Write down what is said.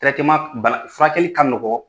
bana furakɛli ka nɔgɔn